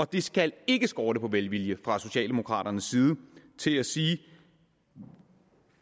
det skal ikke skorte på velvilje fra socialdemokraternes side til at sige